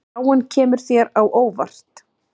Kemur spáin þér á óvart?